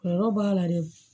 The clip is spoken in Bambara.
Kɔlɔlɔ b'a la dɛ